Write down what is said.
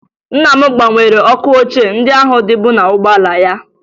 Nna m gbanwere ọkụ ochie ndị ahụ dịbu n'ụgbọala ya